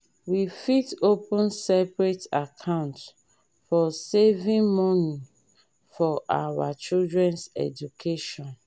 we fit open separate account for saving money for our children’s education.